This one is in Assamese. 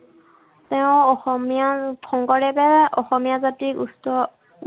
তেওঁ অসমীয়া, শংকৰদেৱে অসমীয়া জাতিক উচ্চ